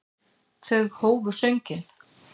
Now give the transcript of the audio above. Þau hófu sönginn.